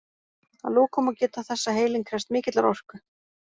Að lokum má geta þess að heilinn krefst mikillar orku.